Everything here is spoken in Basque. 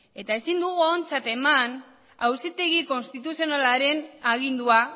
eta ezin dugu ontzat eman auzitegi konstituzionalaren agindua